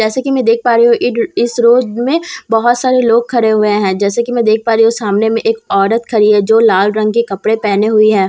जैसे कि मैं देख पा रही हूं इड इस रोड में बहुत सारे लोग खड़े हुए हैं जैसे कि मैं देख पा रही हूं सामने में एक औरत खड़ी है जो लाल रंग के कपड़े पहने हुई हैं--